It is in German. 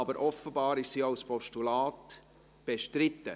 Aber offenbar ist sie als Postulat bestritten.